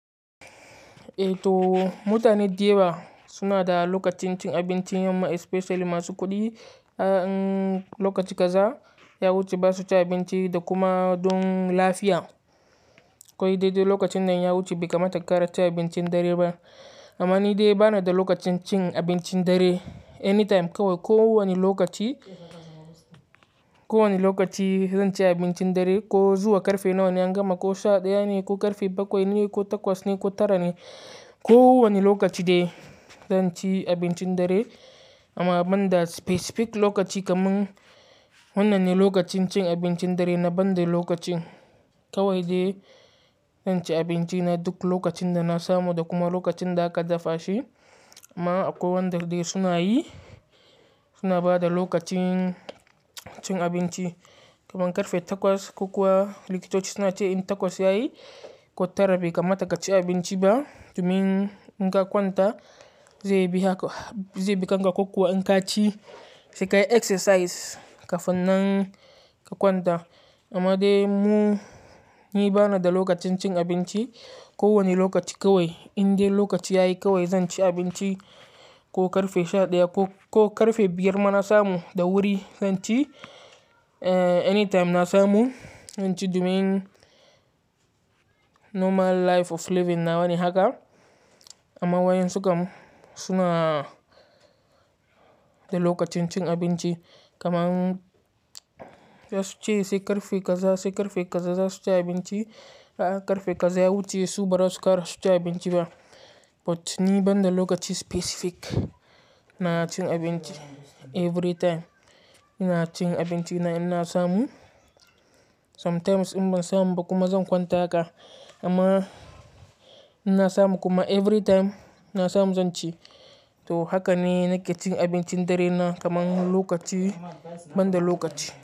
Eh to mutanen dayawa suna da lokacin cin abinci, amma especially masu kuɗi. A lokaci kaza in ya wuce ba su cin abinci da kuma dun lafiya. Koi dai dai lokacinnan ya wuce bai kamata kara cin abincin dare ba. Amma nidai banada lokacin cin abincin dare anytime kowai kowani lokaci, ko wani lokaci zanci abincin dare, ko zuwa karfe nawane an gama, ko sha ɗaya ne, ko karfe bakwai ne, ko takwas ne, ko tara ne, ko wani lokaci dai zan ci abincin dare. Amma ban da specific lokaci kamin wannanne lokacin cin abincin darena banda lokacin. Kawai dai zanci abincina duk lokacin da na samu da kuma lokacinda aka dafa shi. Amma akwai wanda dai sunayi, suna bada lokacin cin abinci kaman karfe takwas, kokuwa likitoci sunace in takwas yayi, ko tara bai kamata kaci abinci ba domin in ka kwanta zaibi haka, zaibi kanka ko kuwa in kaci sai kayi exercise kafinnan ka kwanta. Amma dai mu, ni bana da lokacin cin abinci. Ko wani lokaci kawai, indai lokaci yayi kawai zanci abinci. Ko karfe sha ɗaya ko, ko karfe biyar ma na samu da wuri zanci. Anytime na samu zanci domin normal life of living nawane haka. Amma wayen su kam suna da lokacin cin abinci kaman zasuce sai karfe kaza, sai karfe kaza zasuci abinci. A karfe kaza ya wuce su bara su kara suci abinci ba. But ni banda lokaci specific nacin abinci. Every time ina cin abincina ina samu. Sometimes in ban samu ba kuma zan kwanta haka. Amma ina samu kuma every time na samu zanci. To hakane nake cin abincin darena kaman lokaci, banda lokaci.